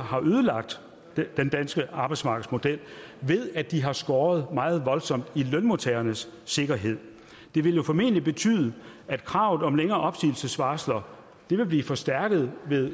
har ødelagt den danske arbejdsmarkedsmodel ved at de har skåret meget voldsomt i lønmodtagernes sikkerhed det vil jo formentlig betyde at kravet om længere opsigelsesvarsler vil blive forstærket ved